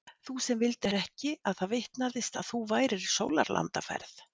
Þú sem vildir ekki að það vitnaðist að þú værir í sólarlandaferð.